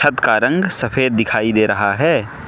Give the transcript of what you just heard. छत का रंग सफेद दिखाई दे रहा है।